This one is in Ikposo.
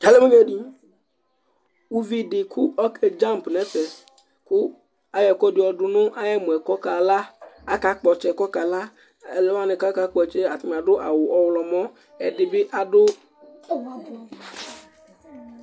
uvi dɩ kayavɛ nʊ idza, adʊ ɛkuɛdɩ nʊ ɛmɔ kʊ akakpɔ ɔtsɛ kʊ ɔkala, alʊwa kakpɔ ɔtsɛ yɛ adʊ awu ɔwlɔmɔ,